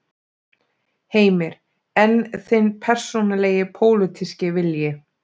Heimir: En þinn persónulegi pólitíski vilji?